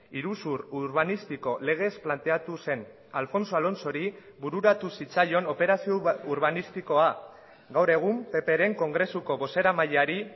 iruzur urbanistiko legez planteatu zen alfonso alonsori bururatu zitzaion operazio urbanistikoa gaur egun ppren kongresuko bozeramaileari